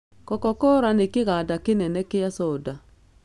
Cocacola nĩ kĩganda kĩnene kĩa coda.